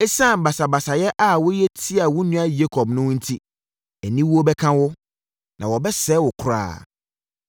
Esiane basabasayɛ a woyɛ tiaa wo nua Yakob no enti aniwuo bɛka wo, na wɔbɛsɛe wo koraa.